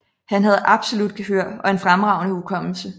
Han havde absolut gehør og en fremragende hukommelse